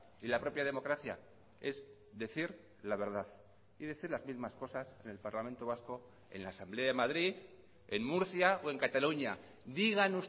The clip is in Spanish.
y la propia democracia es decir la verdad y decir las mismas cosas en el parlamento vasco en la asamblea de madrid en murcia o en cataluña digan